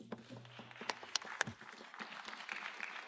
Liebe Lívia, das ist die falsche Frage.